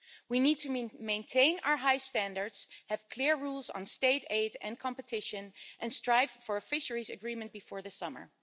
We need to maintain our high standards, have clear rules on state aid and competition and strive for a Fisheries Agreement before the summer.